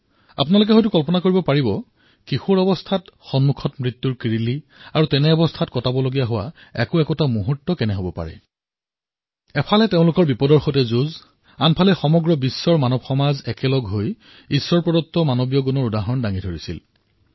আপুনি কল্পনা কৰিব পাৰে কিশোৰ অৱস্থাত যেতিয়া সন্মুখত মৃত্যু পৰিলক্ষিত হয় আৰু পলে পলে যদি সেয়া পাৰ কৰিব লাগে তেন্তে কেৰনে হব পাৰে এটা দিশৰ পৰা তেওঁলোক সংকটৰ সৈতে যুঁজি আছিল আৰু দ্বিতীয় ফালে সমগ্ৰ বিশ্বত মানৱতাই একত্ৰ হৈ ঈশ্বৰপ্ৰদত্ত মানৱীয় গুণসমূহ প্ৰকট কৰি আছিল